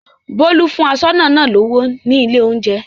Bólú fún aṣọ́nà náà lówó ní ilé-oúnjẹ.